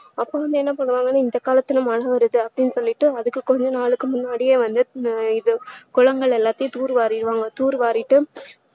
அப்பா வந்து என்ன பண்ணுவாங்கனா இந்த காலத்துல மழை வருது அப்டின்னு சொல்லிட்டு அதுக்கு கொஞ்ச நாளுக்கு முன்னாடியே வந்து இது குளங்கள் எல்லாத்தையும் தூரு வாரிடுவாங்க தூரு வாரிட்டு